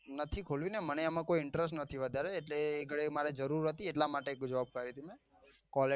નથી ખોલવી ને મને એમાં કોઈ interest નથી વધારે એટલે અહી કને મારે જરૂર હતી એટલ માટે quality